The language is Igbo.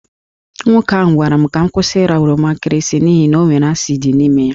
Nwoke ahụ gwara m ka m kwụsị ịra oroma nkịrịsị n’ihi na ọ nwere asid n’ime ya.